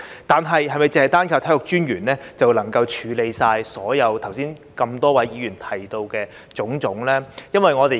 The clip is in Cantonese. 然而，是否單靠體育專員就能夠處理剛才多位議員提到的種種問題呢？